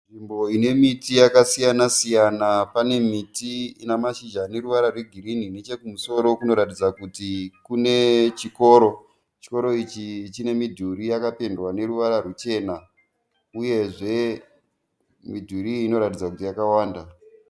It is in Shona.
Nzvimbo inemiti yakasiyana-siyana Panemiti inamashizha aneruvara rwegirini. Nechekumusoro kunoratidza kuti kune chikoro. Chikoro ichi chinemidhuri yakapendwa neruvara rwuchena uyezve midhuri iyi inoratidza kuti yakawanda.